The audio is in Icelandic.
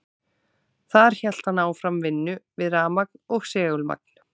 Þar hélt hann áfram vinnu við rafmagn og segulmagn.